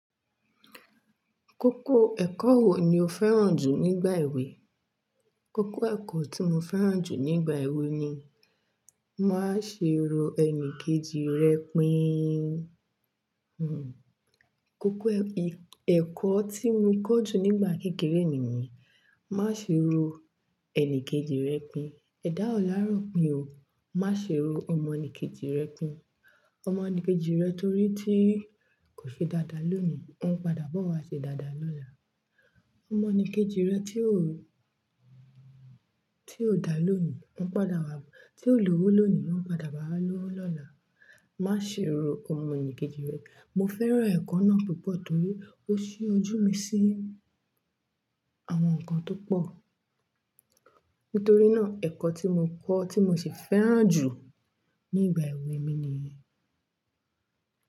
Kókó ẹ̀kọ́ wo ni o fẹ́ràn jù nígbà èwe? Kókó ẹ̀kọ́ tí mo fẹ́ràn jù nígbà èwe ni, "Máa ṣerò ẹnì kejì rẹ pín." Hmm. Kókó ẹ̀ i ẹ̀kọ́ tí mo kọ́ jù nígbà kékeré mi ni, "Má ṣe ro ẹni kejì rẹ pín." ẹ̀dá o láro pín o. "Má ṣe ro ọmọ ẹni kejì rẹ pín. Ọmọ ẹni kejì rẹ torí tí kò ṣe dáda lóní, óún padà bo wa ṣe dádá lọ́la. Ọmọ ẹni kejì rẹ tí óò-- tí ò da lónì, óún padà wá-- tí ò lówó lónì, óún padà bá a lówó lọ́la. "Má ṣe ro ọmọ ẹnì kejì rẹ." Mo fẹ́ràn ẹ̀kọ́ náà púpọ̀ torí ó ṣí ojú mi sí àwọn nǹkan tó pọ̀. Nítorí nà, ẹ̀kọ́ tí mo kọ́ tí mo sì fẹ́ràn jù nígbà èwe mi nìyí.